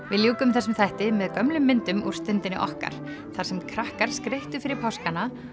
við ljúkum þessum þætti með myndum úr Stundinni okkar þar sem krakkar skreyttu fyrir páskana